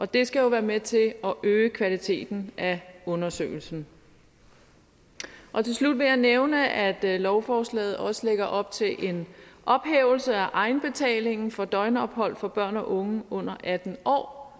det skal jo være med til at øge kvaliteten af undersøgelsen til slut vil jeg nævne at at lovforslaget også lægger op til en ophævelse af egenbetalingen for døgnophold for børn og unge under atten år